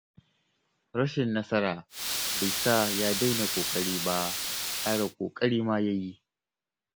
Rashin nasara bai sa ya daina ƙoƙari ba; ƙara ƙoƙari ma ya yi.